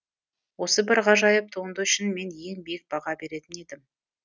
осы бір ғажайып туынды үшін мен ең биік баға беретін едім